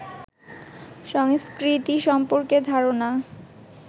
সংস্কৃতি সম্পর্কে ধারণা